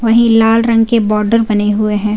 वही लाल रंग के बॉर्डर बने हैं।